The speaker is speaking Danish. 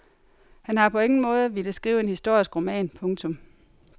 Han har på ingen måde villet skrive en historisk roman. punktum